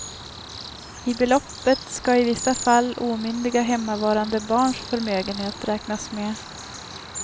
I beloppet ska i vissa fall omyndiga hemmavarande barns förmögenhet räknas med.